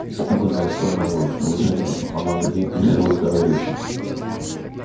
испуганная столь наглым предложением она на миг лишилась дара речи